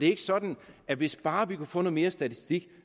ikke sådan at hvis bare vi kunne få noget mere statistik